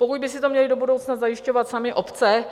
Pokud by si to měly do budoucna zajišťovat samy obce,